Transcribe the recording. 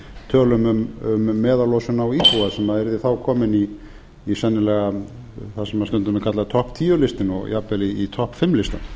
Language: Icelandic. tölum um meðallosun á íbúa sem yrði þá komin í sennilega það sem stundum er kallað topp tíu listinn og jafn vel í topp fimm listann